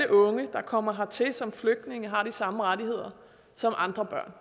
unge der kommer hertil som flygtninge har de samme rettigheder som andre børn